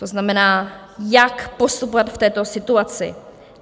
To znamená, jak postupovat v této situaci.